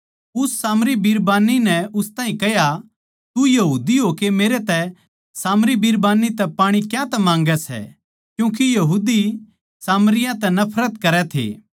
उस सामरी बिरबान्नी नै उस ताहीं कह्या तू यहूदी होकै मेरे तै सामरी बिरबान्नी तै पाणी क्यांतै माँगै सै क्यूँके यहूदी सामरियाँ तै नफरत करै थे